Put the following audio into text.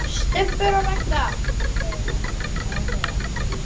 STUBBUR OG RAGGA, hugleiðir það sem hún var að segja.